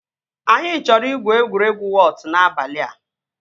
Anyị chọrọ igwu egwuregwu wọt n'abalị a